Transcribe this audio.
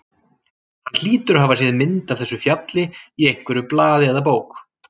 Hann hlýtur að hafa séð mynd af þessu fjalli í einhverju blaði eða bók.